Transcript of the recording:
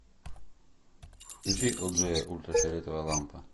включи элджея ультрафиолетовая лампа